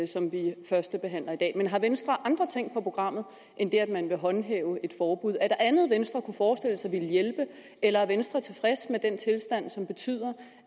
som vi førstebehandler i dag men har venstre andre ting på programmet end det at man vil håndhæve et forbud er der andet venstre kunne forestille sig ville hjælpe eller er venstre tilfreds med den tilstand som betyder